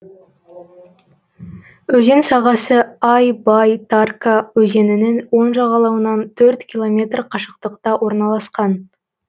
өзен сағасы ай бай тарка өзенінің оң жағалауынан төрт километр қашықтықта орналасқан